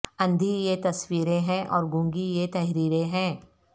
اندھی یہ تصویریں ہیں اور گونگی یہ تحریریں ہیں